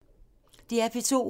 DR P2